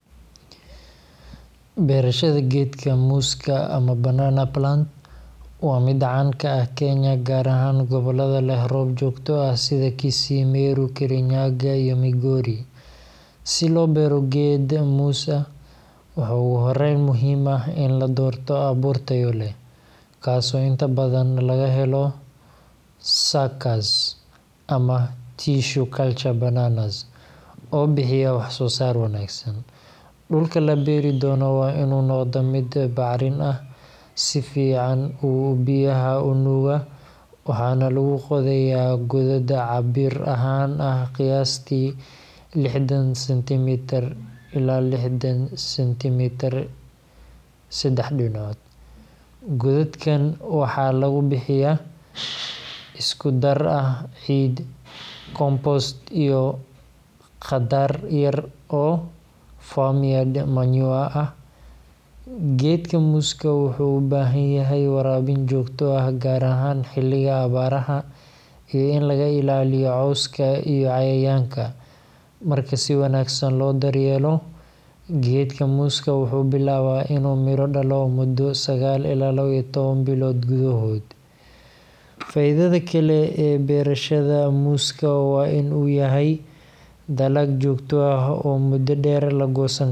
Beerashada geedka muuska, ama banana plant, waa mid caan ka ah Kenya, gaar ahaan gobollada leh roob joogto ah sida Kisii, Meru, Kirinyaga, iyo Migori. Si loo beero geed muus ah, waxaa ugu horreyn muhiim ah in la doorto abuur tayo leh, kaasoo inta badan laga helo suckers ama tissue culture bananas oo bixiya wax-soo-saar wanaagsan. Dhulka la beeri doono waa inuu noqdaa mid bacrin ah, si fiican u biyaha u nuuga, waxaana lagu qodayaa godad cabbir ahaan ah qiyaastii 60cm x 60cm x 60cm. Godadkan waxaa lagu buuxiyaa isku dar ah ciid, compost, iyo qaddar yar oo farmyard manure ah. Geedka muuska wuxuu u baahan yahay waraabin joogto ah gaar ahaan xilliga abaaraha, iyo in laga ilaaliyo cawska iyo cayayaanka. Marka si wanaagsan loo daryeelo, geedka muuska wuxuu bilaabaa inuu midho dhalo muddo sa ilaa lawa bilood gudahood. Faa’iidada kale ee beerashada muuska waa in uu yahay dalag joogto ah oo muddo dheer la goosan karo.